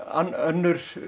önnur